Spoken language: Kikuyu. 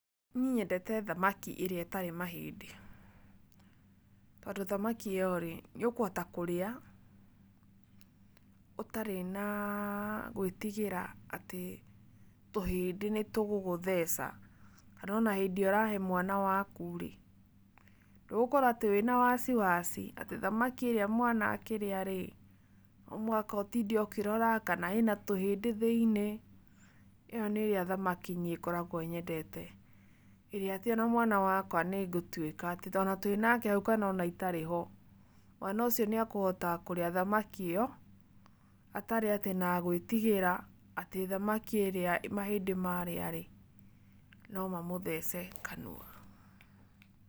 Niĩ nyendete thamaki ĩrĩa itarĩ mahĩndĩ, tondũ thamakĩ ĩyo nĩ ũkũhota kũria ũtarĩ na gwĩtigĩra atĩ tũhĩndĩ nĩ tũgũgũtheca kana o na hĩndĩ ĩrĩa ũrahe mwana waku rĩ ndũgũkorwo atĩ wĩ na wasiwasi ati thamaki ĩrĩa mwana akĩrĩa rĩ no mũhaka ũtinde ũkĩrora kana ĩna tũhĩndĩ thĩinĩ, ĩyo nĩ ĩrĩa thamaki niĩ ngoragwo nyendete, ĩrĩa atĩ o na mwana wakwa nĩngũtuĩka atĩ o na twĩ nake hau kana o na itarĩ ho, mwana ũcio nĩekũhota kũrĩa thamakĩ ĩyo atarĩ atĩ na gũĩtigĩra atĩ thamaki ĩrĩa mahĩndĩ ma marĩa ĩ no mamũthece kanua.